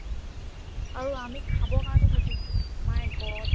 আৰু আমি খাবৰ কাৰণে ঘটিছো my god